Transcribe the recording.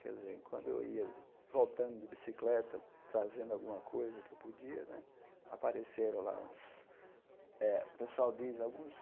Quer dizer, quando eu ia voltando de bicicleta, trazendo alguma coisa que eu podia né, apareceram lá uns... Eh o pessoal diz alguns...